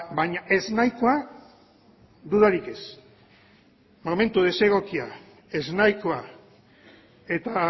baina ez nahikoa dudarik ez momentu desegokia ez nahikoa eta